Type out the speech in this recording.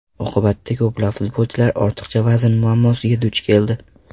Oqibatda ko‘plab futbolchilar ortiqcha vazn muammosiga duch keldi.